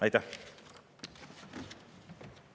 Aitäh!